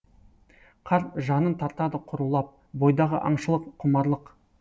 қарт жанын тартады құрулап бойдағы аңшылық құмарлық